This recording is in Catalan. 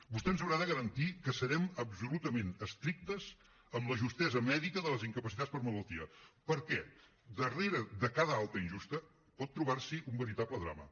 vostè ens haurà de garantir que serem absolutament estrictes amb la justesa mèdica de les incapacitats per malaltia perquè darrere de cada alta injusta pot trobar s’hi un veritable drama